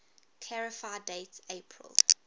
clarify date april